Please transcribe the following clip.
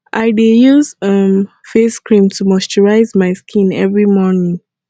i dey use um face cream to moisturize my skin every morning